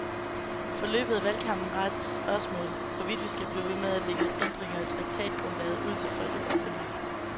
Forløbet af valgkampen rejser spørgsmålet, hvorvidt vi skal blive ved med at lægge ændringer i traktatgrundlaget ud til folkeafstemning.